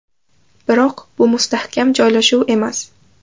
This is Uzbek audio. Biroq bu mustahkam joylashuv emas.